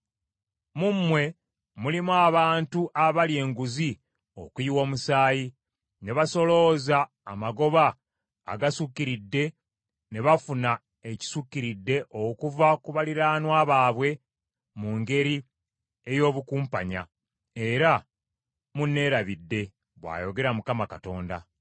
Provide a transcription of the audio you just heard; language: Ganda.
Mu mmwe mulimu abantu abalya enguzi okuyiwa omusaayi, ne basolooza amagoba agasukkiridde ne bafuna ekisukkiridde okuva ku baliraanwa baabwe mu ngeri ey’obukumpanya, era munneerabidde, bw’ayogera Mukama Katonda.